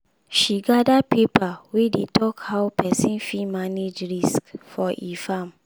she gather paper wey dey talk how pesin fit manage risk for e farm.